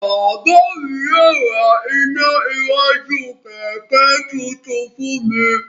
Bàbá mi yóò ra iná iwájú kẹ̀kẹ́ tuntun fún mi.